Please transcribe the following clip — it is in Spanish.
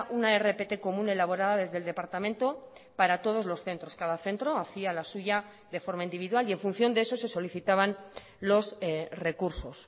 una rpt común elaborada desde el departamento para todos los centros cada centro hacía la suya de forma individual y en función de eso se solicitaban los recursos